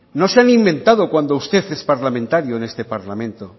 no se han inventado cuando usted es parlamentario en este parlamento